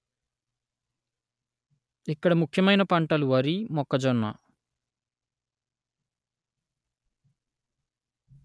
ఇక్కడ ముఖ్యమైన పంటలు వరి మొక్కజొన్న